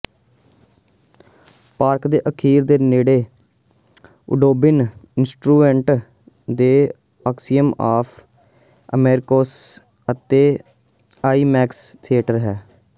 park ਦੇ ਅਖੀਰ ਦੇ ਨੇੜੇ ਔਉਡਬੋਨ ਇੰਸਟੀਚਿਊਟ ਦੇ ਐਕਸੀਅਮ ਆਫ਼ ਅਮੈਰਕੌਸ ਅਤੇ ਆਈਮੈਕਸ ਥੀਏਟਰ ਹੈ